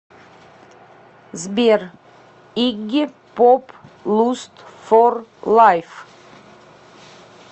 сбер игги поп луст фор лайф